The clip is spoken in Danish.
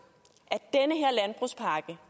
at